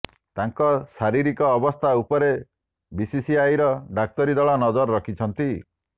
ତାଙ୍କ ଶାରୀରିକ ଅବସ୍ଥା ଉପରେ ବିସିସିଆଇର ଡାକ୍ତରୀ ଦଳ ନଜର ରଖିଛନ୍ତି